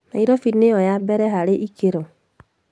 Nairobi nĩyo ya mbere harĩ ikĩro